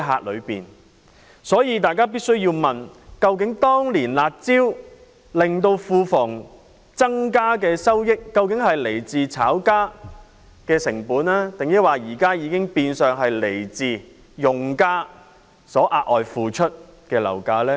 因此，大家必須問，當年"辣招"令到庫房增加的收益，究竟是來自炒家的成本，還是現時已經變相是來自用家額外付出的樓價呢？